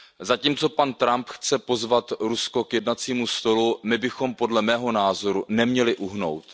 Zatímco pan Trump chce pozvat Rusko k jednacímu stolu, my bychom podle mého názoru neměli uhnout.